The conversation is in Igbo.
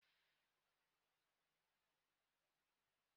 Họputara nú onwe unu ndị ọchịchị unu!